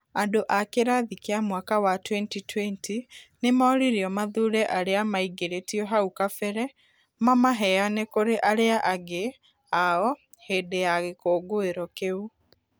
Andũ a kĩrathi kĩa mwaka wa 2020 nĩ moririo mathure arĩa maingĩrĩtio hau kabere mamaheane kũri arĩa angĩ ao hĩndĩ ya gĩkũngũiro kiu.